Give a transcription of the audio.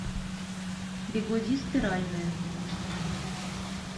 бигуди спиральные